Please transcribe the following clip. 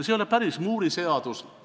See ei ole päris Moore'i seadus.